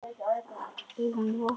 Augun vot.